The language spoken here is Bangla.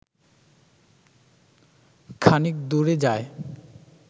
খানিক দূরে যায়